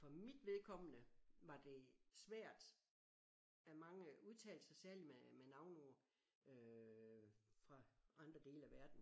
For mit vedkommende var det svært at mange udtalelser særligt med med navneord øh fra andre dele af verden